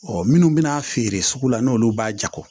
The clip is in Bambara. minnu bɛna feere sugu la n'olu b'a jago